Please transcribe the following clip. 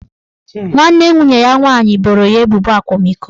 Nwanne nwunye ya nwaanyị boro ya ebubo akwamiko